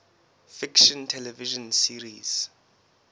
fiction television series